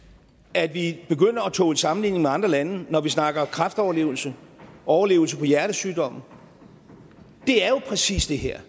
at vi begynder at tåle sammenligning med andre lande når vi snakker om kræftoverlevelse overlevelse på hjertesygdomme er jo præcis det her